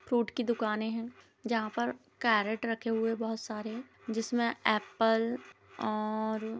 fruit की दुकाने है जहाँ पर कैरट रखे हुए है बहुत सारे जिसमे एप्पल और--